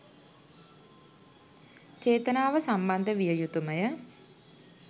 චේතනාව සම්බන්ධ විය යුතුමය.